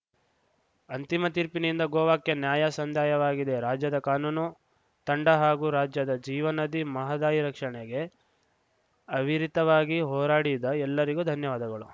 ಅಂತಿಮ ತೀರ್ಪಿನಿಂದ ಗೋವಾಕ್ಕೆ ನ್ಯಾಯ ಸಂದಾಯವಾಗಿದೆ ರಾಜ್ಯದ ಕಾನೂನು ತಂಡ ಹಾಗೂ ರಾಜ್ಯದ ಜೀವನದಿ ಮಹದಾಯಿ ರಕ್ಷಣೆಗೆ ಅವಿರತವಾಗಿ ಹೋರಾಡಿದ ಎಲ್ಲರಿಗೂ ಧನ್ಯವಾದಗಳು